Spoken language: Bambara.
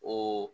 O